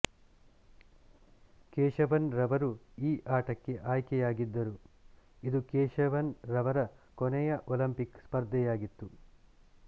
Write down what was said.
ಕೇಶವನ್ ರವರು ಈ ಆಟಕ್ಕೆ ಆಯ್ಕೆಯಾಗಿದ್ದರು ಇದು ಕೇಶವನ್ ರವರ ಕೊನೆಯ ಒಲಿಂಪಿಕ್ ಸ್ಪರ್ಧೆಯಾಗಿತ್ತು